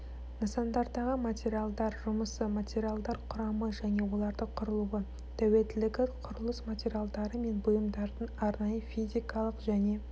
нысандардағы материалдар жұмысы материалдар құрамы және олардың құрылуы тәуелділігі құрылыс материалдары мен бұйымдардың арнайы физикалық және